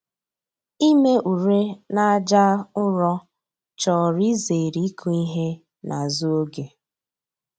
Ime ure n'aja ụrọ chọrọ izere ịkụ ihe n'azụ oge